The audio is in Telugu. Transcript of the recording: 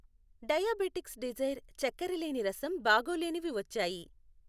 డయాబెటిక్స్ డిజైర్ చక్కెర లేని రసం బాగోలేనివి వచ్చాయి.